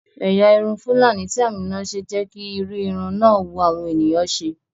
Ẹ̀yà irun fúlàní tí Àmíná ṣe jẹ́ kí irú irun náà wu àwọn ènìyàn ṣe